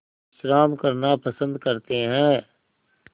विश्राम करना पसंद करते हैं